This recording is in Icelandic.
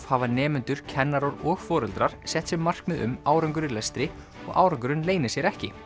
hafa nemendur kennarar og foreldrar sett sér markmið um árangur í lestri og árangurinn leynir sér ekki